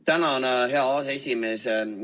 Tänan, hea aseesimees!